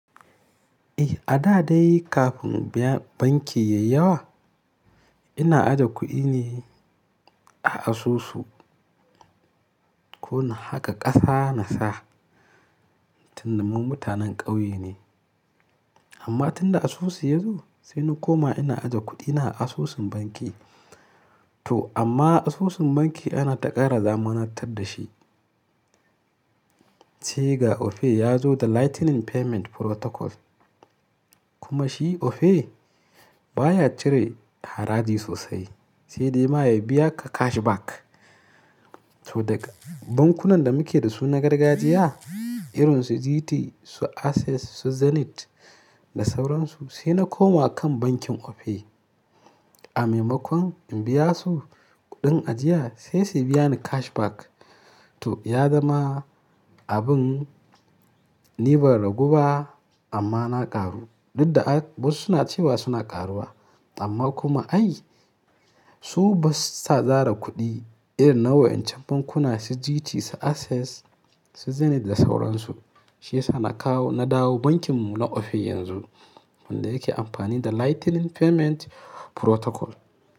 Eh, a da dai kafin banki yayi yawa, ina aje kuɗi ne a asusu. Ko na haƙa ƙasa na sa, tun da mun mutanen ƙauye ne. Amma tunda asusu ya zo sai na koma ina aje kuɗina a asusun banki. To amma asusun banki ana ta ƙara zamanantar da shi. Sai ga Opay ya zo da Lightning Payment Protocol. Kuma shi Opay baya cire haraji sosai, sai dai ma ya biya ka cashback. To daga bankunan da muke da su na gargajiya, irin su GT, su Access, su Zenith da sauran su, sai na koma kan bankin Opay. A maimakon in biya su kuɗin ajiya sai su biya ni cashback. To ya zama abin ni ban ragu ba amma na ƙaru. Duk da wasu suna cewa suna ƙaruwa amma kuma ai su ba su sa zare kuɗi irin na wa'incan bankuna, su GT, su Access, su Zenith da sauran su. Shi yasa na kawo, na dawo bankin mu na Opay yanzu wanda yake amfani da Lightning Payment Protocol.